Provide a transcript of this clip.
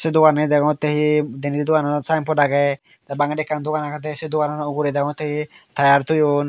doganani degongotte hi denedi dogananot ekkan saenbot agey tey bangedi ekkan dogan agedey sey dogananot degongotte hi tayar toyon.